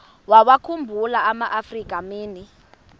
wawakhumbul amaafrika mini